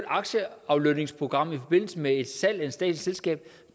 aktieaflønningsprogram i forbindelse med et statsligt selskab